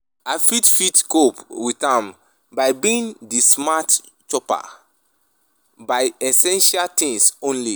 i fit fit cope with am by being di smart shopper, buy essential things only.